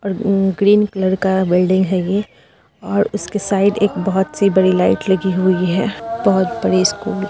--और green colour का building है ये और उसके साइड में एक बहुत बड़ी सी लाइट लगी हुई है बहुतबड़ी स्कूल ।